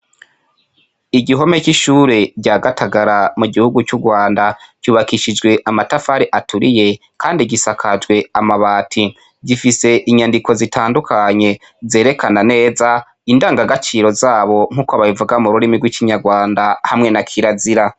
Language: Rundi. Igihome c'ishure rya gatagara mu gihugu c'urwanda ryubakishijwe amatafari aturiye, kandi gisakajwe amabati gifise inyandiko zitandukanye zerekana neza indanga gaciro zabo nk'uko ababivuga mu rurimi rw'icinyarwanda hamwe na kila zira.